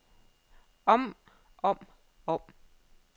om om om